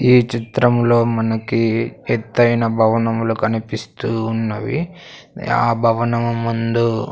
ఈ చిత్రంలో మనకి ఎత్తైన భవనములు కనిపిస్తూ ఉన్నవి ఆ భవనము ముందు--